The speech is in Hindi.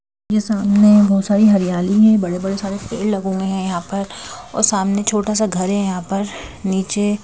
यह सामने बहुत सारी हरियाली है बड़े बड़े सारे पेड़ लगे हुए हैं यहाँ पर और सामने छोटा सा घर है यहाँ पर नीचे--